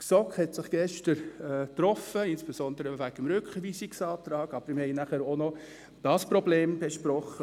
Die GSoK hat sich gestern getroffen, insbesondere wegen des Rückweisungsantrags, aber wir haben dann auch noch dieses Problem besprochen.